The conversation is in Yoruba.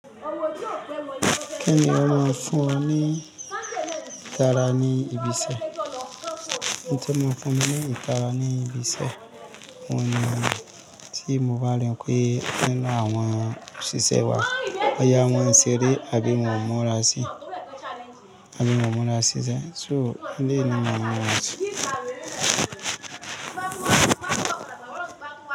Kini ò máa ń fún ọ ní ìtara ní ibi iṣẹ́. N tí mo fún ẹ ní ìtara ní ibi iṣẹ́ wọ̀nyí ni tí mo bá rìn pé kí ń lọ àwọn òṣìṣẹ́ wa, bóyá wọn n ṣeré àbí wọ̀n ò mura sí, àbí wọ̀n mura sí sẹ̀. So ní ìná mọ́ra sí.